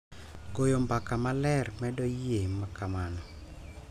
Goyo mbaka maler medo yie ma kamano